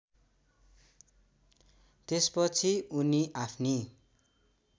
त्यसपछि उनी आफ्नी